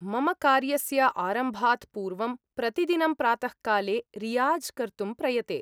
मम कार्यस्य आरम्भात् पूर्वं प्रतिदिनं प्रातःकाले रियाज़् कर्तुं प्रयते।